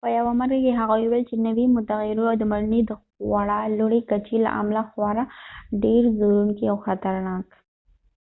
په یوه مرکه کې هغه وویل چې نوی متغییر و د مړینې د خورا لوړې کچې له امله خورا ډیر ځورونکی او خطرناک